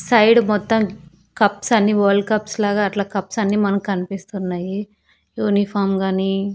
Side మొత్తం cups అన్ని world cups లాగా అట్లా కప్స్ అన్ని మనకు కనిపిస్తున్నాయి యూనిఫామ్ గానీ.